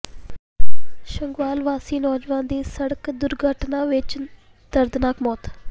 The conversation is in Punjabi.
ਸੰਘਵਾਲ ਵਾਸੀ ਨੌਜਵਾਨ ਦੀ ਸੜਕ ਦੁਰਘਟਨਾ ਵਿਚ ਦਰਦਨਾਕ ਮੌਤ